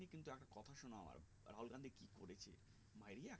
মাইরিয়া